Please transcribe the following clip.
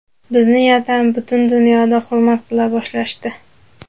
Bizni yana butun dunyoda hurmat qila boshlashdi.